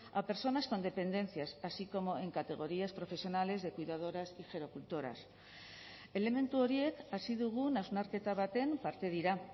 a personas con dependencias así como en categorías profesionales de cuidadoras y gerocultoras elementu horiek hasi dugun hausnarketa baten parte dira